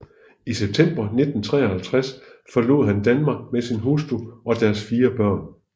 I september 1953 forlod han Danmark med sin hustru og deres fire børn